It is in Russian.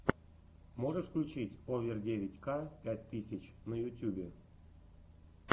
можешь включить овер девять ка пять тысяч на ютубе